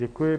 Děkuji.